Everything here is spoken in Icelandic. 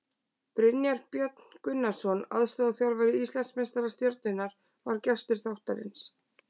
Brynjar Björn Gunnarsson, aðstoðarþjálfari Íslandsmeistara Stjörnunnar, var gestur þáttarins.